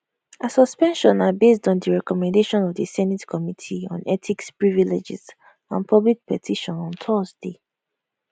her suspension na based on di recommendation of di senate committee on ethics privileges and public petition on thursday